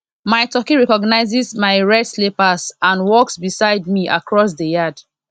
mai turkey recognizes mai red slippers and walks beside me across di yard